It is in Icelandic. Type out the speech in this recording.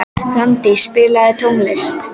Randý, spilaðu tónlist.